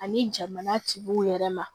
Ani jamana tigiw yɛrɛ ma